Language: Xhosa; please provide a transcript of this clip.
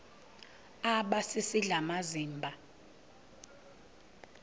aba sisidl amazimba